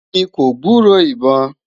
mí kò gburó ibọn